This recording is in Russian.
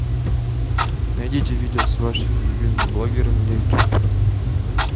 найдите видео с вашими любимыми блогерами на ютуб